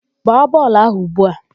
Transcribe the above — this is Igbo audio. Gbaa bọọlụ áhụ̀ ugbu a!